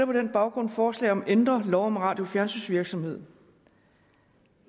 på den baggrund forslag om at ændre lov om radio og fjernsynsvirksomhed